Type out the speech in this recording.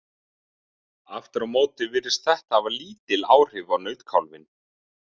Aftur á móti virðist þetta hafa lítil áhrif á nautkálfinn.